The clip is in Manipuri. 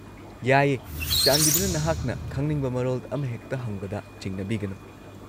-ꯌꯥꯏꯌꯦ, ꯆꯥꯟꯕꯤꯗꯨꯅ ꯅꯍꯥꯛꯅ ꯈꯪꯅꯤꯡꯕ ꯃꯔꯣꯜ ꯑꯃꯍꯦꯛꯇ ꯍꯪꯕꯗ ꯆꯤꯡꯅꯕꯤꯒꯅꯨ?